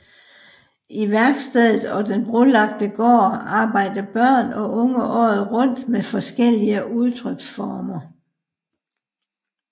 I værkstedet og den brolagte gård arbejder børn og unge året rundt med forskellige udtryksformer